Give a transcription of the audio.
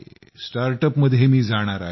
स्टार्टअपमध्ये मी जाणार आहे